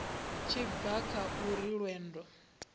tshi bva kha uri lwendo